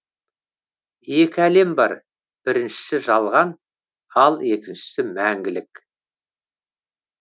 екі әлем бар біріншісі жалған ал екіншісі мәңгілік